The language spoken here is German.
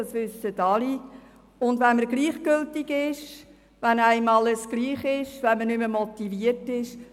Es ist eigentlich das Schlimmste für einen Jugendlichen, wenn ihm alles egal ist und er nicht mehr motiviert ist.